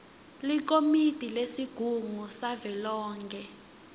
likomiti lesigungu savelonkhe